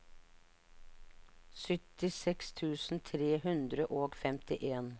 syttiseks tusen tre hundre og femtien